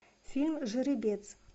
фильм жеребец